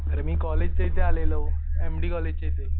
अरे मी कॉलेजच्या इथे आलेलो एम डी कॉलेजच्या इथे.